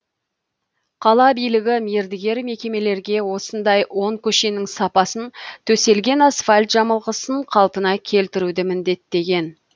қала билігі мердігер мекемелерге осындай он көшенің сапасын төселген асфальт жамылғысын қалпына келтіруді міндеттеген